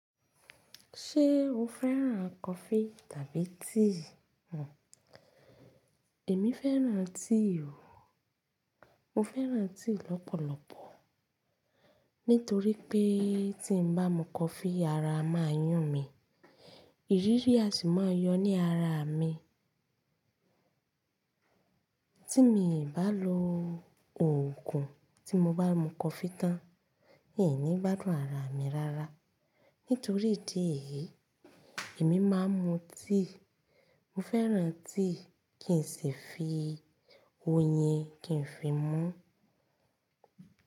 Ṣé o fẹ́ràn coffee tàbí tea? Èmi fẹ́ràn tea o. Mo fẹ́ràn tea lọ́pọ̀lọpọ̀ nítorí pé tí n bá mú coffee ara a máa yún mi, ìrírí á sì máa yọ ní ara mi. Tí miì bá lo òògùn tí mo bá mú coffee tán, in ní gbádùn ara mi rárá. Nítorí idi eyí, èmi máa ń mú tea. Mo fẹ́ràn tea kí n sì fi oyin kí n fi mú.